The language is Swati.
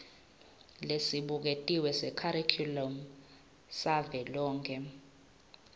lesibuketiwe sekharikhulamu savelonkhe